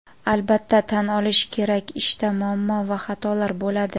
Albatta tan olish kerak ishda muammo va xatolar bo‘ladi.